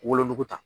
Wolonugu ta